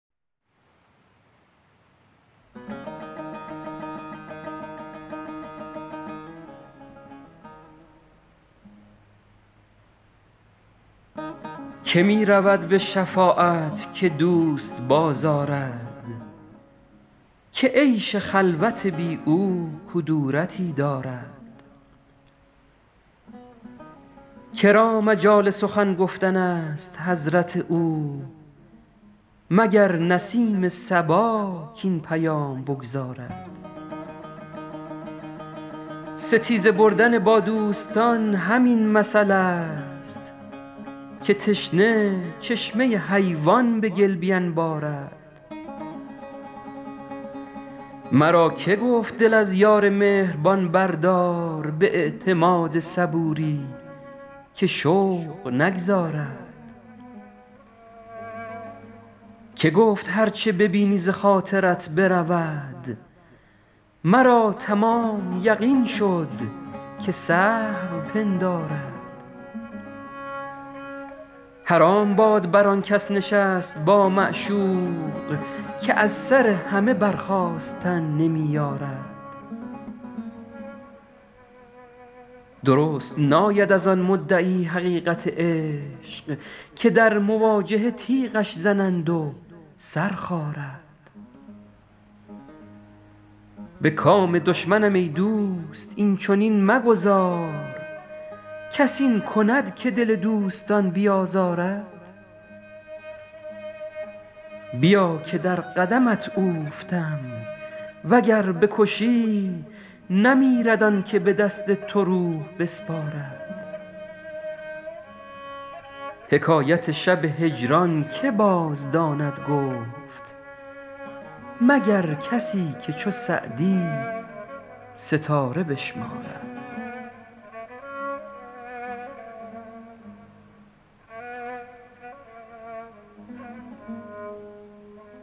که می رود به شفاعت که دوست بازآرد که عیش خلوت بی او کدورتی دارد که را مجال سخن گفتن است به حضرت او مگر نسیم صبا کاین پیام بگزارد ستیزه بردن با دوستان همین مثلست که تشنه چشمه حیوان به گل بینبارد مرا که گفت دل از یار مهربان بردار به اعتماد صبوری که شوق نگذارد که گفت هر چه ببینی ز خاطرت برود مرا تمام یقین شد که سهو پندارد حرام باد بر آن کس نشست با معشوق که از سر همه برخاستن نمی یارد درست ناید از آن مدعی حقیقت عشق که در مواجهه تیغش زنند و سر خارد به کام دشمنم ای دوست این چنین مگذار کس این کند که دل دوستان بیازارد بیا که در قدمت اوفتم و گر بکشی نمیرد آن که به دست تو روح بسپارد حکایت شب هجران که بازداند گفت مگر کسی که چو سعدی ستاره بشمارد